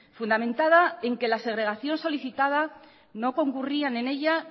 fundamentada en que la segregación solicitada no concurrían en ella